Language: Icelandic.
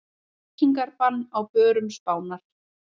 Reykingabann á börum Spánar